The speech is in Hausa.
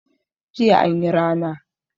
Jiya anyi rana